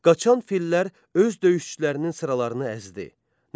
Qaçan fillər öz döyüşçülərinin sıralarını əzdi.